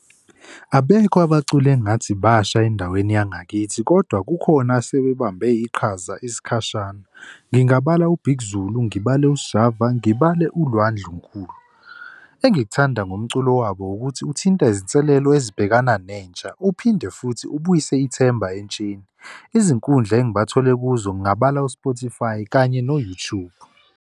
Abekho abaculi engathi basha endaweni yangakithi kodwa kukhona asebebambe iqhaza isikhashana. Ngingabala uBig Zulu, ngibale uSjava ngibale uLwa Ndlunkulu. Engikuthanda ngomculo wabo ukuthi uthinta izinselelo ezibhekana nentsha uphinde futhi ubuyise ithemba entsheni. Izinkundla engibathole kuzo ngingabala u-Spotify kanye no-YouTube.